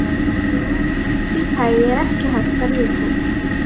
Loforð af því tagi er ekki hægt að rjúfa.